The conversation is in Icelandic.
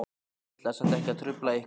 Ég ætlaði samt ekki að trufla ykkur.